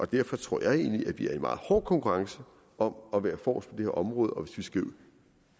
derfor tror jeg egentlig at vi er i meget hård konkurrence om at være forrest på her område og hvis vi skal